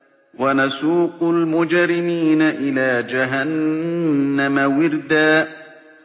وَنَسُوقُ الْمُجْرِمِينَ إِلَىٰ جَهَنَّمَ وِرْدًا